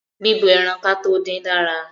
Bíbọ ẹran kátó dín dára.